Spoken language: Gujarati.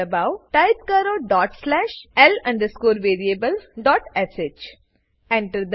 દબાઓ ટાઈપ કરો dot slash l variablesh Enter